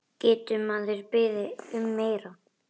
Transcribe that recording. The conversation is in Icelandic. Getur maður beðið um meira?